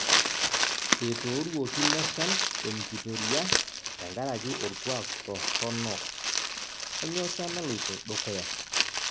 Etooruoki leshan emnkitoria tenkaraki orkuak torronok; kanyoo sa naloito dukuya